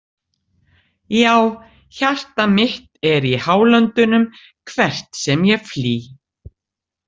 Já, hjarta mitt er í Hálöndunum hvert sem ég flý.